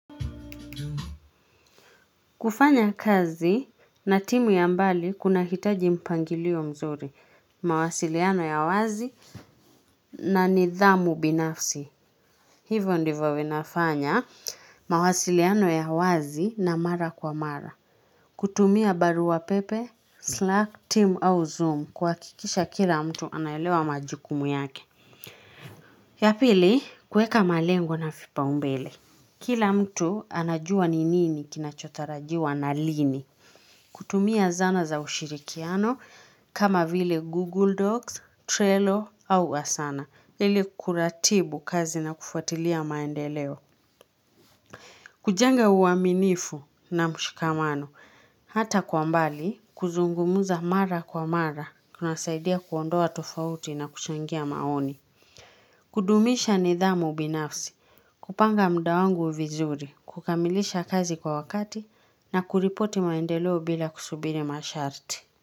Kufanya kazi na timu ya mbali kunahitaji mpangilio mzuri, mawasiliano ya wazi na nidhamu binafsi. Hivyo ndivyo vinafanya mawasiliano ya wazi na mara kwa mara. Kutumia barua pepe, slack team au zoom kuhakikisha kila mtu anaelewa majukumu yake. Ya pili kuweka malengo na vipau mbele. Kila mtu anajua ni nini kinachotarajiwa na lini. Kutumia zana za ushirikiano kama vile Google Docs, Trello au Asana, ili kuratibu kazi na kufuatilia maendeleo. Kujenga uaminifu na mshikamano, hata kwa mbali kuzungumuza mara kwa mara, kunasaidia kuondoa tofauti na kuchangia maoni. Kudumisha nidhamu binafsi, kupanga muda wangu vizuri, kukamilisha kazi kwa wakati na kuripoti maendeleo bila kusubiri masharti.